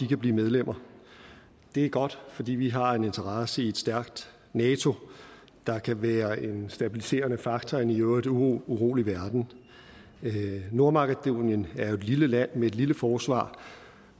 kan blive medlemmer det er godt fordi vi har en interesse i et stærkt nato der kan være en stabiliserende faktor i en i øvrigt urolig verden nordmakedonien er jo et lille land med et lille forsvar